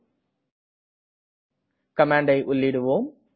இப்போது கமாண்டை உள்ளீடுவோம்